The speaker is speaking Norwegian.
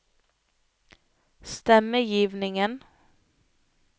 stemmegivningen